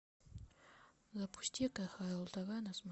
запусти кхл тв на